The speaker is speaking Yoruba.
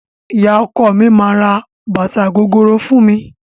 Ìyá ọkọ mi máa ra bàtà gogoro fún mi.